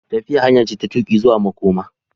Tafiya hanya ce ta tuƙi zuwa makoma.